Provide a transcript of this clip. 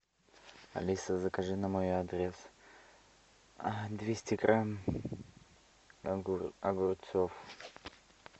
алиса закажи на мой адрес двести грамм огурцов